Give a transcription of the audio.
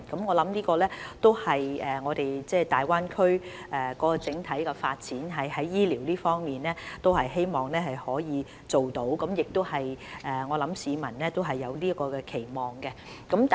我相信在大灣區的整體發展中，就醫療方面，這是我們希望可以達到的效果，而市民對此也有期望。